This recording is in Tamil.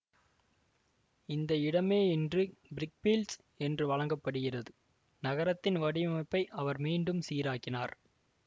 இந்த இடமே இன்று பிரிக்பீல்ட்சு என்று வழங்க படுகிறது நகரத்தின் வடிவமைப்பை அவர் மீண்டும் சீராக்கினார்